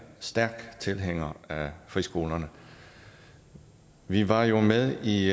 stærk tilhænger af friskolerne vi var jo med i